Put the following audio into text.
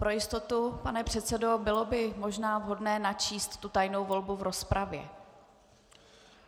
Pro jistotu, pane předsedo, bylo by možná vhodné načíst tu tajnou volbu v rozpravě.